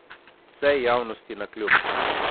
Vsej javnosti navkljub.